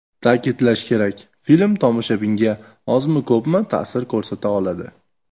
Ta’kidlash kerak, film tomoshabinga, ozmi-ko‘pmi, ta’sir ko‘rsata oladi.